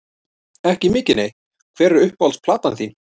Ekki mikið nei Hver er uppáhalds platan þín?